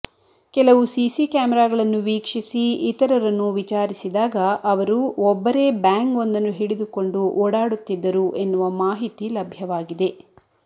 ಕೆಲವು ಸಿಸಿ ಕ್ಯಾಮರಾಗಳನ್ನು ವೀಕ್ಷಿಸಿ ಇತರರನ್ನು ವಿಚಾರಿಸಿದಾಗ ಅವರು ಒಬ್ಬರೇ ಬ್ಯಾಂಗ್ ಒಂದನ್ನು ಹಿಡಿದುಕೊಂಡು ಓಡಾಡುತ್ತಿದ್ದರು ಎನ್ನುವ ಮಾಹಿತಿ ಲಭ್ಯವಾಗಿದೆ